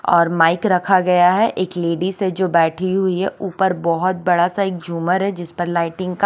और माइक रखा गया है एक लेडिज है जो बेठी हुई है ऊपर बोहोत बड़ा सा एक जुमर है जिसपर लाइटिंग का --